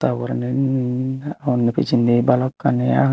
tarporein undi pijenni balokani age.